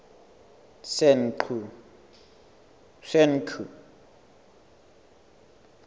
senqu